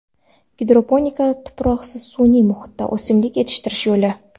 Gidroponika tuproqsiz sun’iy muhitda o‘simlik yetishtirish yo‘li.